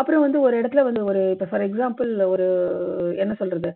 அப்புறம் வந்து ஒரு இடத்துல ஒரு இப்போ for example ஒரு என்ன சொல்றது